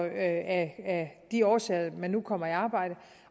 af de årsager man nu kommer i arbejde